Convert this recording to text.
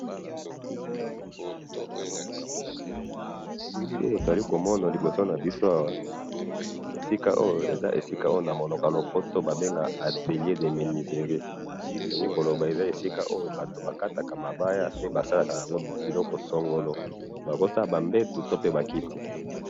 .awa eza menuiserie ba basalaka ba mbeto na bakiti.